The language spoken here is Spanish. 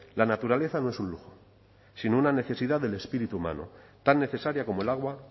la naturaleza no es un lujo sino una necesidad del espíritu humano tan necesaria como el agua